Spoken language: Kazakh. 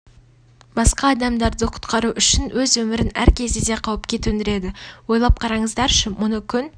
басқа адамдарды құтқару үшін өз өмірін әр кезде де қауіпке төндіреді ойлап қараңыздаршы мұны күн